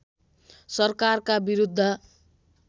सरकारका विरुद्ध